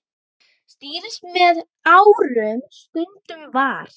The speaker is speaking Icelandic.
Stýrt með árum stundum var.